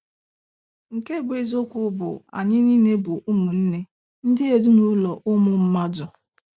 Nke bụ eziokwu bụ, Anyị niile bụ ụmụnne, ndị ezinụlọ ụmụ mmadụ.